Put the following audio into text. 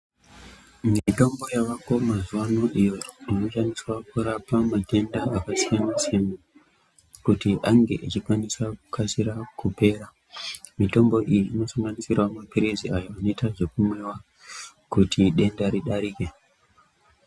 Mitombo yavako mazuvano iyo inoshandiswa kurapa matenda akasiyana-siyana, kuti ange achikwanisa kukasira kupera. Mitombo iyi inosanganisira maphirizi ayo anoita zvekumwiwa kuti denda ridarike.